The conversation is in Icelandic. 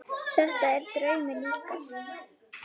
Þetta er draumi líkast.